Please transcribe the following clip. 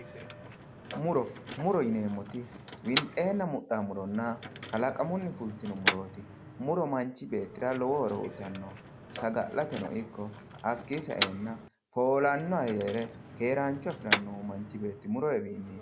muro muro yineemmoti winxeenna mudhino muronna qalaqamunni fultino murooti. manchi beetira lowo horo uyiitanno saga'lateno ikko hakkii saenna foolaanno ayyere keeraancho afirannohu manchi beetti muroniwiniiti.